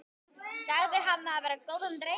Sagðir hann vera góðan dreng.